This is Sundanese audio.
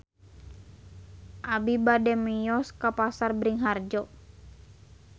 Abi bade mios ka Pasar Bringharjo